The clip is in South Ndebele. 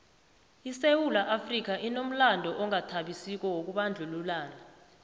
isewula afrika inomlando ongathabisiko wokubandlululana